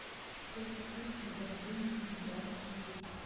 сколько песен в альбоме легендарная пыль